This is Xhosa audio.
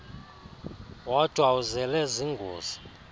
wodwa uzele zingozi